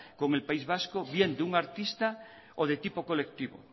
con el país vasco bien de un artista o de tipo colectivo